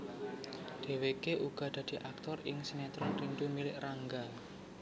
Dheweke uga dadi aktor ing sinetron Rindu Milik Rangga